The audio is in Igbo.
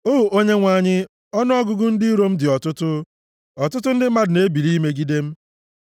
O Onyenwe anyị, ọnụọgụgụ ndị iro m dị ọtụtụ. Ọtụtụ ndị mmadụ na-ebili imegide m.